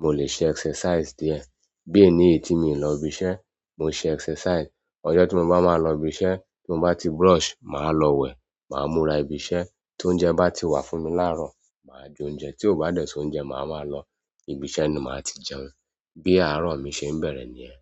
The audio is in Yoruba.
mo lè ṣe exercise díẹ̀. Bí èní tí mi lọ ibi iṣẹ́, mo ṣe exercise. Ọjọ́ tí mo bá máa lọ ibi iṣẹ́, tí mo bá ti brush, màá lọ wẹ̀, màá múra ibi iṣẹ́. Tóunjẹ bá ti wà fún mi láàárọ̀, màá jẹ oúnjẹ. Tí ó bá dẹ̀ sóuńjẹ, màá máa lọ ibi iṣẹ́ ni màá ti jẹun. Bí ààrọ mi ṣe ń bẹ̀rẹ̀ niyẹ́.